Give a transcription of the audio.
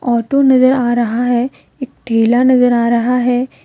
Auto नजर आ रहा है एक ठेला नजर आ रहा है।